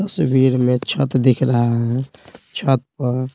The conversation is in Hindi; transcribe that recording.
तस्वीर में छत दिख रहा है छत पर--